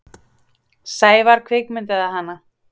Sævar kvikmyndaði hana.